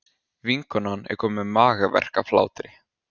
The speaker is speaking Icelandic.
Vinkonan er komin með magaverk af hlátri.